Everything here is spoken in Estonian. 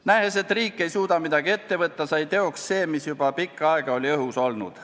Nähes, et riik ei suuda midagi ette võtta, sai teoks see, mis juba pikka aega oli õhus olnud.